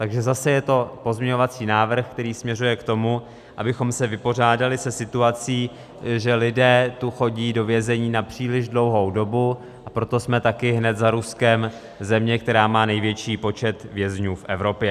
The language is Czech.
Takže zase je to pozměňovací návrh, který směřuje k tomu, abychom se vypořádali se situací, že lidé tu chodí do vězení na příliš dlouhou dobu, a proto jsme taky hned za Ruskem země, která má největší počet vězňů v Evropě.